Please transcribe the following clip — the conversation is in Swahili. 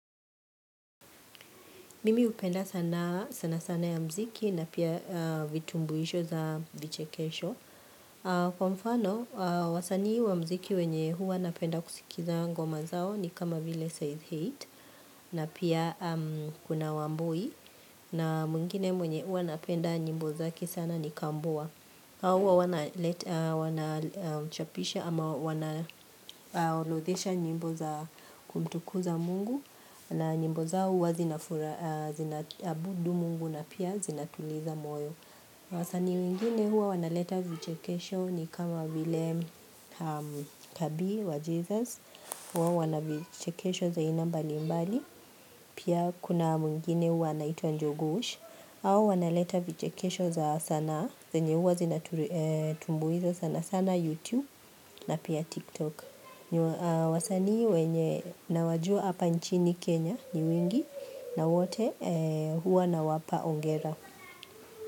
Mimi hupenda sanaa sana sana ya muziki na pia vitumbuisho za vichekesho. Kwa mfano, wasanii wa muziki wenye huwa napenda kusikiza ngoma zao ni kama vile size height na pia kuna wambui. Na mwingine mwenye huwa napenda nyimbo zake sana ni kambua. Hawa wana leta wanachapisha ama wanarodhesha nyimbo za kumtukuza mungu na nyimbo za hua zinafura, zinaaabudu mungu na pia zinatuliza moyo wasaani wengine hua wanaleta vichekesho ni kama vile kabi wa jesus huwa wanavichekesho za iana mbali mbali Pia kuna wengine hua wanaitwa njugush hao wanaleta vichekesho za sana zenye huwa zinatumbuiza sana sana YouTube na pia TikTok na wasaani wenye nawajua hapa nchini Kenya ni wengi na wote huwa nawapa hongera.